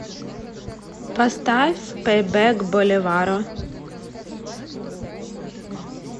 поставь пэйбэк боливаро